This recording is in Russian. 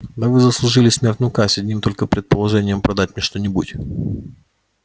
да вы заслужили смертную казнь одним только предположением продать мне что-нибудь